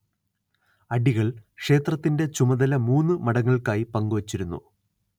അടികൾ ക്ഷേത്രത്തിൻറെ ചുമതല മൂന്ന് മഠങ്ങൾക്കായി പങ്കുവച്ചിരുന്നു